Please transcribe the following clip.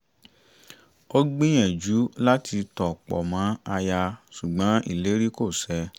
ó gbìyànjú láti tọ̀ pọ̀ mọ́ aya ṣùgbọ́n ìlérí kò ṣẹ